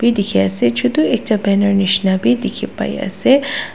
dekhi ase chotu ekta banner nisna bhi dekhi pai ase.